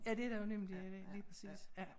Ja det der jo nemlig ja lige præcis ja